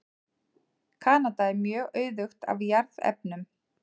Kanada er mjög auðugt af jarðefnum.